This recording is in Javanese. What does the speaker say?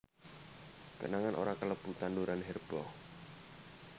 Kenanga ora kalebu tanduran herba